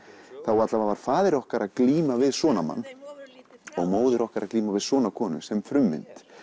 þá var faðir okkar að glíma við svona mann og móðir okkar að glíma við svona konu sem frummynd